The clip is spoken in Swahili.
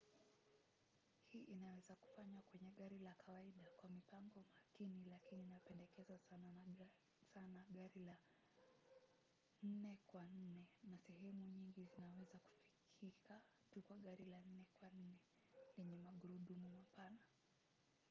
hii inaweza kufanywa kwenye gari la kawaida kwa mipango makini lakini inapendekezwa sana gari la 4 kwa 4 na sehemu nyingi zinaweza kufikika tu kwa gari la 4 kwa 4 lenye magurudumu mapana